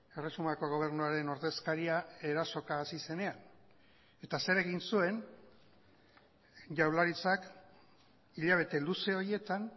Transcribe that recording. erresumako gobernuaren ordezkaria erasoka hasi zenean eta zer egin zuen jaurlaritzak hilabete luze horietan